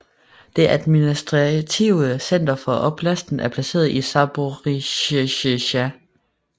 Det administrative center for oblasten er placeret i Zaporizjzja